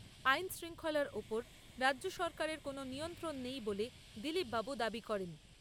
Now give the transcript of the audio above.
আইন শৃঙ্খলার ওপর রাজ্য সরকারের কোনো নিয়ন্ত্রণ নেই বলে দিলীপবাবু দাবি করেন।